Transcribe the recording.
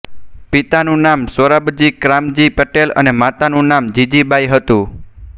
પિતાનું નામ સોરાબજી ક્રામજી પટેલ અને માતાનું નામ જીજીબાઈ હતું